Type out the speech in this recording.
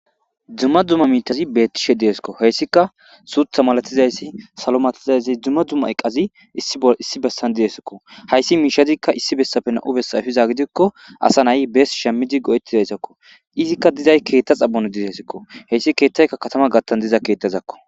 Dumma dzumma miitazi beettishe deeskko heyssika suutha malatizayssi salomatizayzi dzumma dzumma eqqazi i issi bessan diesakko hayssi miishadikka issi bessapena'u bessayfiza gidikko asa nay bees shemmidi go'ettizaysakko izikka dizay keetta xabono dizesikko heyssi keettayka katama gattan diza keettazakko